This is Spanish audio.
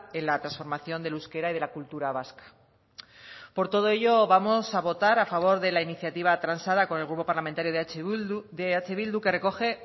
en la transformación del euskera y de la cultura vasca por todo ello vamos a votar a favor de la iniciativa tranzada con el grupo parlamentario de eh bildu que recoge